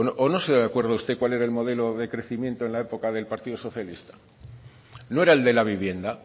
o no se acuerda usted cuál era el modelo de crecimiento en la época del partido socialista no era el de la vivienda